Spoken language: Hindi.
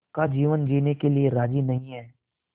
का जीवन जीने के लिए राज़ी नहीं हैं